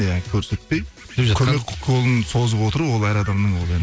иә көрсетпей көмек қолын созып отыру ол әр адамның ол